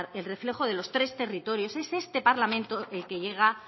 el reflejo de los tres territorios es este parlamento el que llega